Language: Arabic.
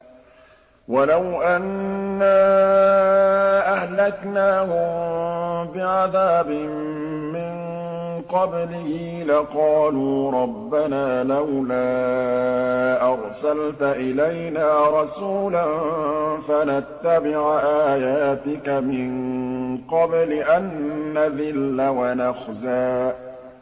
وَلَوْ أَنَّا أَهْلَكْنَاهُم بِعَذَابٍ مِّن قَبْلِهِ لَقَالُوا رَبَّنَا لَوْلَا أَرْسَلْتَ إِلَيْنَا رَسُولًا فَنَتَّبِعَ آيَاتِكَ مِن قَبْلِ أَن نَّذِلَّ وَنَخْزَىٰ